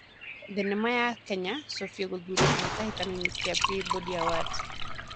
Thenema ya kenya"sofie"gũthuurwa kĩhĩtaĩtano-inĩ kĩa Peabody awards